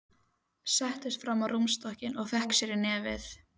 Settist fram á rúmstokkinn og fékk sér í nefið.